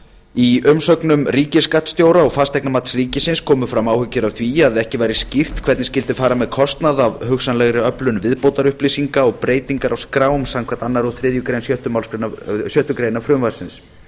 í umsögnum ríkisskattstjóra og fasteignamats ríkisins komu fram áhyggjur af því að ekki væri skýrt hvernig skyldi fara með kostnað af hugsanlegri öflun viðbótarupplýsinga og breytingum á skrám samkvæmt öðrum og þriðju málsgrein sex greinar frumvarpsins